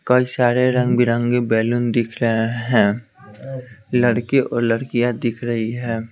कई सारे रंग बिरंगे बैलून दिख रहे हैं लड़के और लड़कियां दिख रही है।